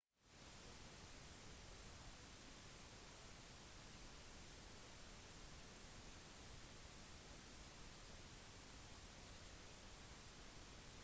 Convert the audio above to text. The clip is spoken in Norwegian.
også stillehavets tsunamivarslingsenter sa at det ikke var noen indikasjon på at en tsunami skulle komme